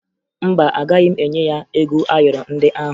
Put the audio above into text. Mba, agaghị m enye ya ego ayọrọ ndị ahụ